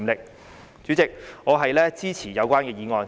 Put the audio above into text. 代理主席，我支持有關的議案。